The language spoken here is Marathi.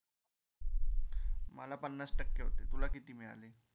मला पन्नास टक्के होते, तुला किती मिळाले?